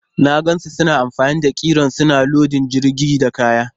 Na gan su suna amfani da kiren suna lodin jirgin da kaya.